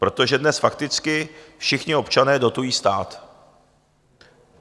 Protože dnes fakticky všichni občané dotují stát.